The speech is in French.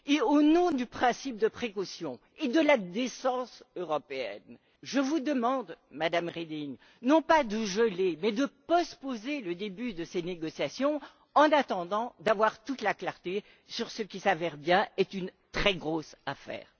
Au nom du principe de précaution et de la décence européenne, je vous demande, Madame Reding, non pas de geler, mais de postposer le début de ces négociations, en attendant d'avoir toute la clarté sur ce qui s'avère bien une très grosse affaire.